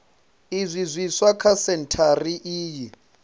zwinzhi zwiswa kha sentshari iyi